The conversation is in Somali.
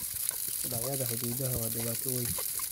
Isku dhacyada xuduudaha waa dhibaato weyn.